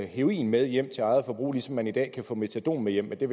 heroin med hjem til eget forbrug ligesom man i dag kan få metadon med hjem det